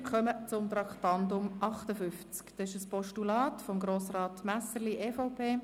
Wir kommen zum Traktandum 58, einem Postulat von Grossrat Messerli, EVP: